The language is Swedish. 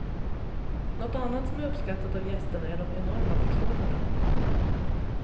Något annat som är uppskattat av gästerna är de enorma portionerna.